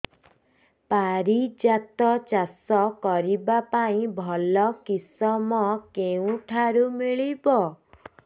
ପାରିଜାତ ଚାଷ କରିବା ପାଇଁ ଭଲ କିଶମ କେଉଁଠାରୁ ମିଳିବ